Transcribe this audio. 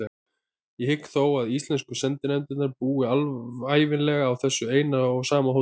Ég hygg þó að íslensku sendinefndirnar búi ævinlega á þessu eina og sama hóteli.